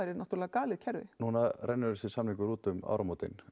náttúrulega galið kerfi núna rennur þessi samningur út um áramótin